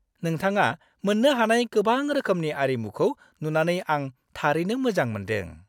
नोंथाङा मोन्नो हानाय गोबां रोखोमनि आरिमुखौ नुनानै आं थारैनो मोजां मोन्दों।